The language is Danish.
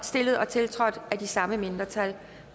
stillet og tiltrådt af de samme mindretal